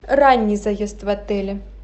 ранний заезд в отеле